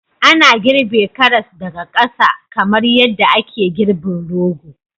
Ana girbe karas daga ƙasa kamar yadda ake girbin rogo